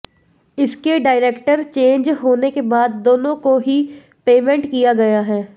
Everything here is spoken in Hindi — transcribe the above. इसके डायरेक्टर चेंज होने के बाद दोनों को ही पेमेंट किया गया है